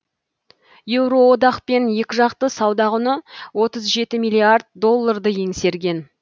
еуроодақпен екіжақты сауда құны отыз жеті миллиард долларды еңсерген